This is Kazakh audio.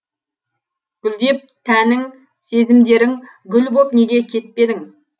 гүлдеп тәнің сезімдерің гүл боп неге кетпедің